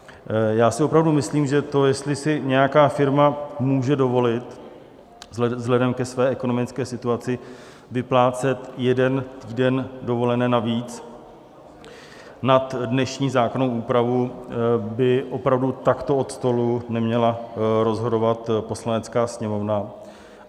Já si opravdu myslím, že to, jestli si nějaká firma může dovolit vzhledem ke své ekonomické situaci vyplácet jeden týden dovolené navíc nad dnešní zákonnou úpravu, by opravdu takto od stolu neměla rozhodovat Poslanecká sněmovna.